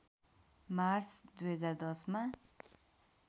March २०१० मा